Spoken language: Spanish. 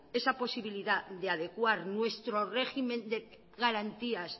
esa posibilidad de adecuar nuestro régimen de garantías